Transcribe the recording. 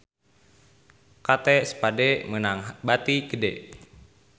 Kate Spade meunang bati gede